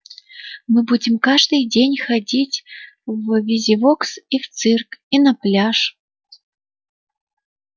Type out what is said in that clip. мы будем каждый день ходить в визивокс и в цирк и на пляж